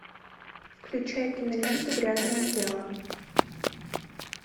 включай киноленту грязное дело